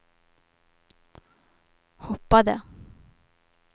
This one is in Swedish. hoppade